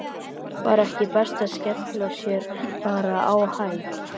Var ekki best að skella sér bara á Hæ?